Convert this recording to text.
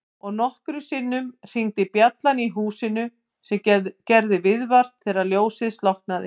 Og nokkrum sinnum hringdi bjallan í húsinu sem gerði viðvart þegar ljósið slokknaði.